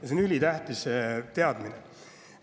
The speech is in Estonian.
See on ülitähtis teadmine.